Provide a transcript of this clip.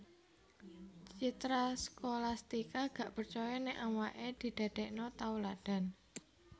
Citra Scholastika gak percoyo nek awak e didadekno tauladan